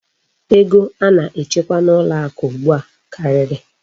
Ego a na-echekwa n'ụlọ akụ ugbu a karịrị.